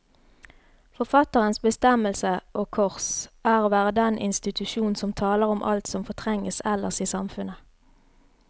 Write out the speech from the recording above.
Forfatterens bestemmelse, og kors, er å være den institusjon som taler om alt som fortrenges ellers i samfunnet.